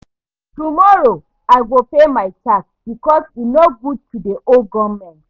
Tomorrow, I go pay my tax because e no good to dey owe government.